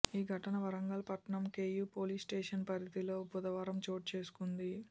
ఈ ఘటన వరంగల్ పట్టణం కేయూ పోలీస్స్టేషన్ పరిధిలో బుధవారం చోటుచేసుకుంది